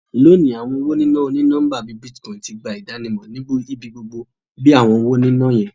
Loni, awọn owo nina oni-nọmba bii Bitcoin ti gba idanimọ ni ibigbogbo bi awọn ọna owo yiyan.